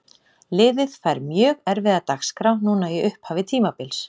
Liðið fær mjög erfiða dagskrá núna í upphafi tímabils.